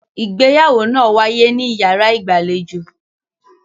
Ìgbéyàwó náà wáyé níyàrá ìgbàlejò.